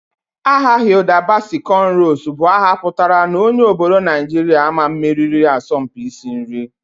Aha Hilda Baci Conrows bu aha putara na onye obodo Najiria ama mmeriri asọmpi isi nri